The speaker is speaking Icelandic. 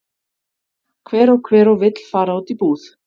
Hver og hver og vill fara út í búð?